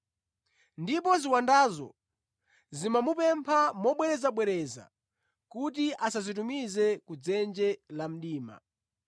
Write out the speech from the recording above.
Ndipo ziwandazo zimamupempha mobwerezabwereza kuti asazitumize ku dzenje la mdima.